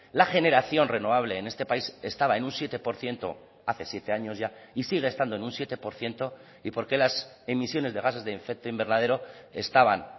la generación renovable en este país estaba en un siete por ciento hace siete años ya y sigue estando en un siete por ciento y por qué las emisiones de gases de efecto invernadero estaban